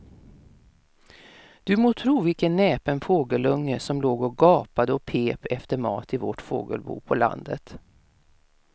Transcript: Du må tro vilken näpen fågelunge som låg och gapade och pep efter mat i vårt fågelbo på landet.